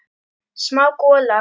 Smá gola.